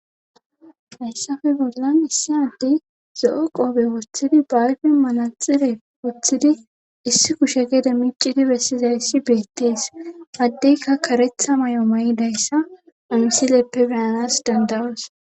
hayssape bollan issi adey zo7o qoobe woththidi bayfen maraxine woththidi issi kushe gede micidi bessizayssi beettees addeykka karetha may7o may7idayssa omsileppe beyanas dandawas